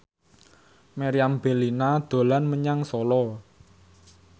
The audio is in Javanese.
Meriam Bellina dolan menyang Solo